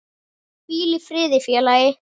Hvíl í friði félagi.